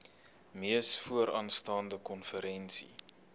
mees vooraanstaande konferensie